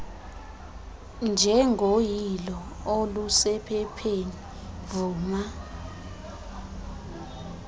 njengoyilo olusephepheni vuma